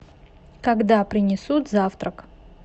когда принесут завтрак